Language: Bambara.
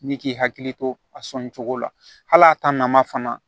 Ni k'i hakili to a sɔnni cogo la hali a ta nama fana